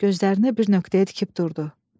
Gözlərini bir nöqtəyə tikib durdu.